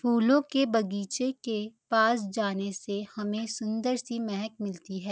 फूलों के बगीचे के पास जाने से हमें सुन्‍दर सी महक मिलती है।